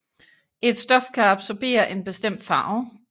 Et stof kan absorbere en bestemt farve